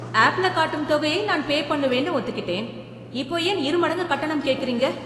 ஆப்ல காட்டும் தொகையை நான் பே பண்ணுவேன்னு ஒத்துக்கிட்டேன். இப்போ ஏன் இரு மடங்கு கட்டணம் கேக்குறீங்க?